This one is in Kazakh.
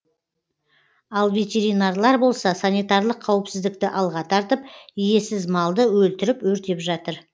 ал ветеринарлар болса санитарлық қауіпсіздікті алға тартып иесіз малды өлтіріп өртеп жатыр